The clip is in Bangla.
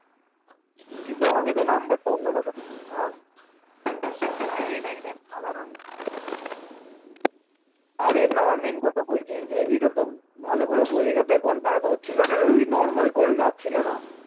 ভালো করে বোঝ এখান থেকে conference হচ্ছিল না এই normal call যাচ্ছিল না।